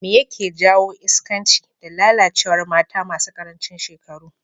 Me yake jawo iskanci da lalacewar mata masu karancin shekaru?